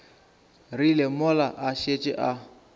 rile mola a šetše a